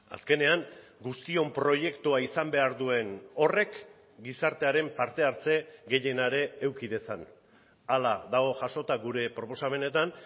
azkenean guztion proiektua izan behar duen horrek gizartearen parte hartze gehiena ere eduki dezan hala dago jasota gure proposamenetan